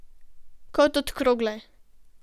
Kot od krogle.